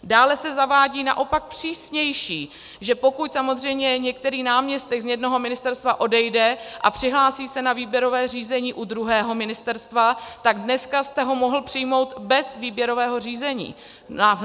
Dále se zavádí naopak přísnější, že pokud samozřejmě některý náměstek z jednoho ministerstva odejde a přihlásí se na výběrové řízení u druhého ministerstva, tak dneska jste ho mohl přijmout bez výběrového řízení.